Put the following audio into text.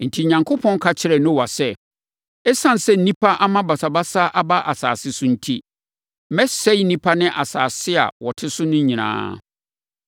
Enti, Onyankopɔn ka kyerɛɛ Noa sɛ, “Esiane sɛ nnipa ama basabasa aba asase so enti, mɛsɛe nnipa ne asase a wɔte so no nyinaa.